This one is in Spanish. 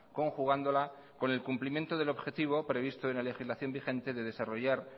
conjugándola con el cumplimiento del objetivo previsto en la legislación vigente de desarrollar